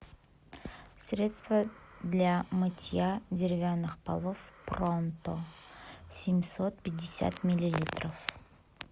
средство для мытья деревянных полов пронто семьсот пятьдесят миллилитров